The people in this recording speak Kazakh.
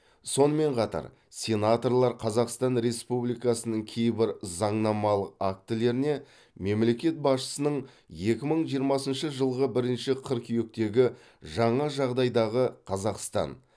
сонымен қатар сенаторлар қазақстан республикасының кейбір заңнамалық актілеріне мемлекет басшысының екі мың жиырмасыншы жылғы бірінші қыркүйектегі жаңа жағдайдағы қазақстан